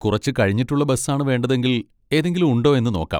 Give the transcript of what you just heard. കുറച്ച് കഴിഞ്ഞിട്ടുള്ള ബസ് ആണ് വേണ്ടതെങ്കിൽ ഏതെങ്കിലും ഉണ്ടോ എന്ന് നോക്കാം.